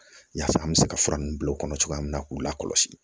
Yaasa an bɛ se ka fura ninnu bila o kɔnɔ cogoya min na k'u lakɔlɔsi